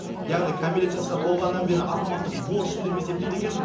яғни кәмелеттік жасқа толғаннан бері азаматтық борышым деп есептейді екен